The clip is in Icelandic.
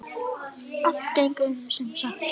Allt gengur sem sagt upp!